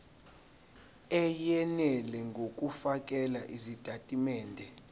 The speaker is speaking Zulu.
eyenele ngokufakela izitatimende